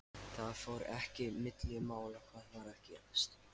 Það fór ekki milli mála hvað var að gerast.